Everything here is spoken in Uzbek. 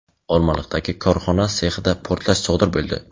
Olmaliqdagi korxona sexida portlash sodir bo‘ldi.